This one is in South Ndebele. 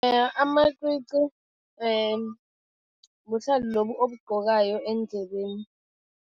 Amacici buhlalu lobu obugqokayo eendlebeni.